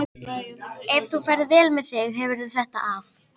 Ef þú ferð vel með þig hefurðu þetta af.